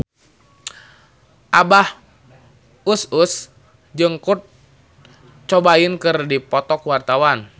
Abah Us Us jeung Kurt Cobain keur dipoto ku wartawan